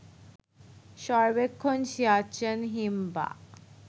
সর্বেক্ষণ সিয়াচেন হিমবাহ